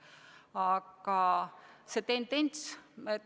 Aga see tendents püsib.